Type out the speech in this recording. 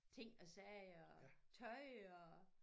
Ting og sager tøj og